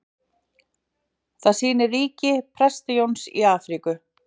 Það sýnir ríki Presta-Jóns í Afríku.